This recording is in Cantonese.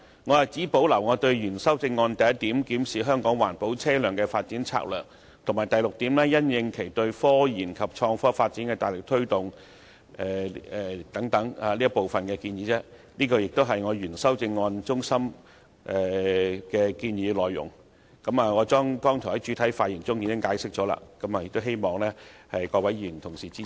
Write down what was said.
我只保留我原修正案的第一點，檢視香港環保車輛的發展策略，以及第六點，因應其對科研及創科發展的大力推動等部分建議，這亦是我原修正案的中心建議內容，我剛才在主體發言時已經解釋過，希望各位議員能夠支持。